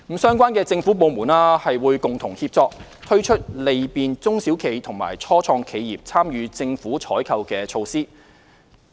相關政府部門會共同協作，推出利便中小企和初創企業參與政府採購的措施。